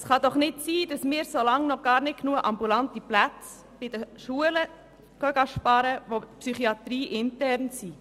Es kann doch nicht sein, dass wir bei den psychiatrieinternen Schulen sparen, solange es noch gar nicht genug ambulante Plätze gibt.